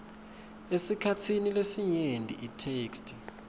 esikhatsini lesinyenti itheksthi